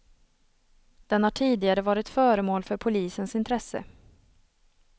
Den har tidigare varit föremål för polisens intresse.